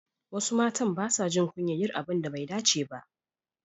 Wasu matan basa jin kunyar yin abun da bai dace ba.